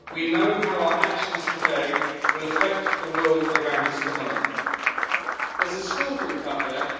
We know how our actions today will affect the world around us tomorrow. There is a school group up there!